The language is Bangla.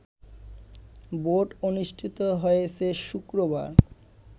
ভোট অনুষ্ঠিত হয়েছে শুক্রবার